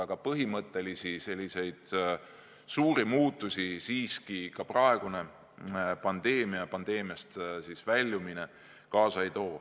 Aga põhimõttelisi suuri muutusi siiski ka praegune pandeemia ja sellest väljumine kaasa ei too.